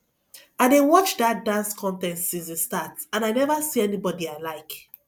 i dey watch dat dance contest since e start and i never see anybody i like